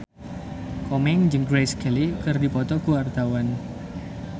Komeng jeung Grace Kelly keur dipoto ku wartawan